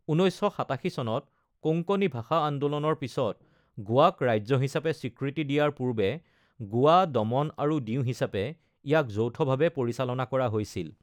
১৯৮৭ চনত কোঙ্কণী ভাষা আন্দোলনৰ পিছত গোৱাক ৰাজ্য হিচাপে স্বীকৃতি দিয়াৰ পূৰ্বে গোৱা, দমন আৰু দিউ হিচাপে ইয়াক যৌথভাৱে পৰিচালনা কৰা হৈছিল।